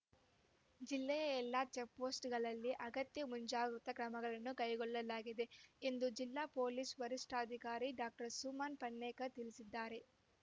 ಜಿಲ್ಲೆಯ ಎಲ್ಲಾ ಚೆಕ್‍ಪೋಸ್ಟ್ ಗಳಲ್ಲಿ ಅಗತ್ಯ ಮುಂಜಾಗೃತಾ ಕ್ರಮಗಳನ್ನು ಕೈಗೊಳ್ಳಲಾಗಿದೆ ಎಂದು ಜಿಲ್ಲಾ ಪೊಲೀಸ್ ವರಿಷ್ಠಾಧಿಕಾರಿ ಡಾಕ್ಟರ್ ಸುಮನ್ ಪನ್ನೇಕರ್ ತಿಳಿಸಿದ್ದಾರೆ